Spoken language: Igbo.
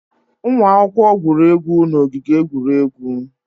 Ụmụ akwụkwọ gwuru egwu n'ogige egwuregwu.